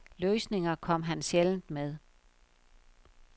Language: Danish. Løsninger kom han sjældent med.